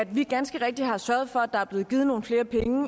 vi ganske rigtigt har sørget for at der er blevet givet nogle flere penge